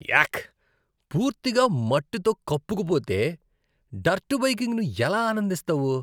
యాక్. పూర్తిగా మట్టితో కప్పుకుపోతే, డర్ట్ బైకింగ్ను ఎలా ఆనందిస్తావు?